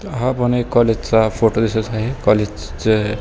हा पण कॉलेजचा एक फोटो दिसत आहे. कॉलेजच --